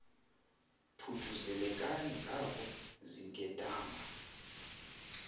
thuthuzelekani ngako zinkedama